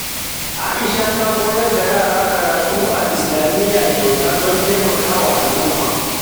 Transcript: Aisha ta koyar da yara karatu a Islamiyya kyauta don taimakon al’umma.